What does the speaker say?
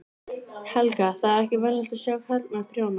Helga: Það er ekki venjulegt að sjá karlmann prjóna?